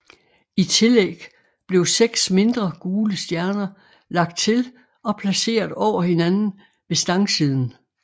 I tillæg blev seks mindre gule stjerner lagt til og placeret over hinanden ved stangsiden